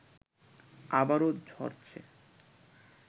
আবারও ঝরছে